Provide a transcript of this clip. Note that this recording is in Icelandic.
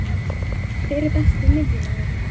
Hver er Besti miðjumaðurinn?